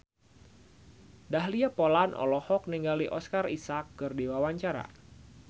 Dahlia Poland olohok ningali Oscar Isaac keur diwawancara